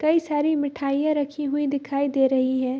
कई सारी मिठाइयाँ रखी हुई दिखाई दे रही है।